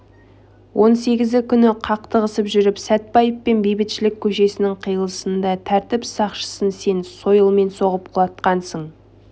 он сегізі күні қақтығысып жүріп сәтбаев пен бейбітшілік көшесінің қиылысында тәртіп сақшысын сен сойылмен соғып құлатқансың